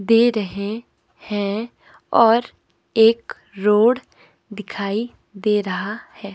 दे रहे हैं और एक रोड दिखाई दे रहा है।